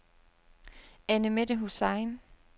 Annemette Hussain